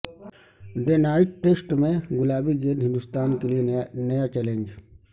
day night test میں گلابی گیند ہندوستان کیلئے نیا چیلنج